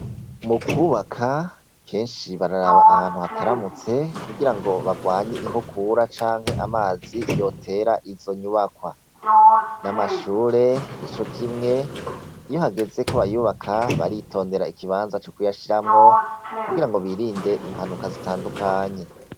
Mu kubaka kenshi bararaba ahantu hataramutse kugirango bagwanye inkukura canke amazi yotera izo nyubakwa n'amashure nico kimwe iyo hageze ko bayubaka baritondera ikibanza co kuyashiramwo kugira ngo birinde impanuka zitandukanye.